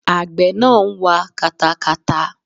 Àgbẹ̀ náà ń wa katakata.